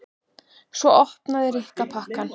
Svo opnaði Rikka pakkann.